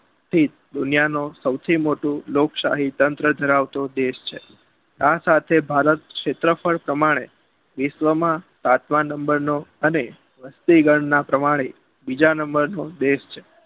દુનિયાનો સોથી મોટું લોકશાહી તંત્ર ધરાવતો દેશ છે આ સાથે ભારત સેત્રફળ પ્રમાણે વિશ્વમાં સાત નંબરનો અને વસ્તી ગણના પ્રમાણે બીજા નંબર નો દેશ છે